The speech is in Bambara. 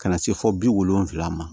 Ka na se fo bi wolonwula ma